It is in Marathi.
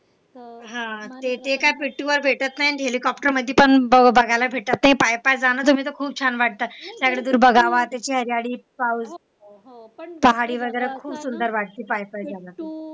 हा ते काय पिट्टू वर भेटत नाही आणि हेलिकॉप्टर वर पण बघायला भेटत नाही पाय पाय जण तर खूप छान वाटत त्याच्याकडं बघावं त्याची जाडी पाहावी पहाडी वगैरे खूप सुंदर वाटते पायी पायी बघायला